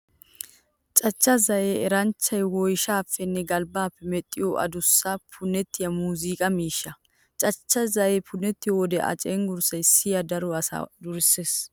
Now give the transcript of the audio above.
Cachcha zayee eranchchay woyshshaappenne galbbaappe medhdhiyo adussa, punettiya muuziiqa miishsha. Cachcha zayee punettiyo wode a cenggurssay siya daro asaa durssees.